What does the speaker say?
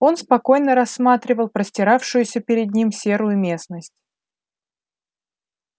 он спокойно рассматривал простиравшуюся перед ним серую местность